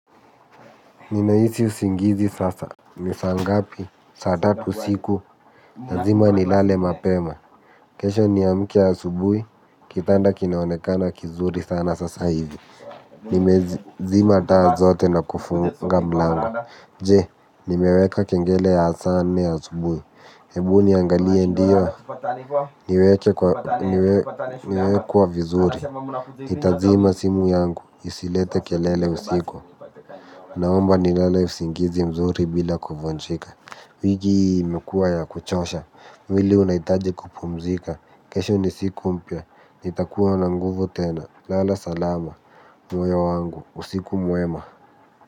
Ninaisi usingizi sasa, nisaa ngapi, saa tatu usiku, lazima nilale mapema, kesho niamke asubuhi, kitanda kinaonekana kizuri sana sasa hivi. Nimezima taa zote na kufunga mlango, je, nimeweka kengele ya saa nne ya asubuhi, ebu ni angalie ndiyo, niweke kwa vizuri. Ni tazima simu yangu, isilete kelele usiku. Naomba ni lale usingizi mzuri bila kuvunjika. Wiki hii imekuwa ya kuchosha, mwili unaitaji kupumzika. Kesho ni siku mpya, ni takuwa na nguvu tena. Lala salama, moyo wangu, usiku muema.